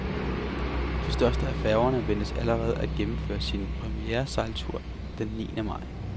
Den første af færgerne ventes allerede at gennemføre sin premieresejltur den niende maj.